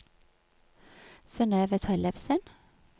Synøve Tellefsen